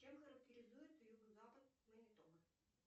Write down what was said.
чем характеризуется юго запад